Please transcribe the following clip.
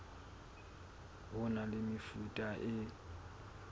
ho na le mefuta e